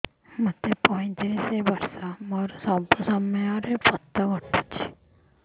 ମୋତେ ପଇଂତିରିଶ ବର୍ଷ ମୋର ସବୁ ସମୟରେ ପତ ଘଟୁଛି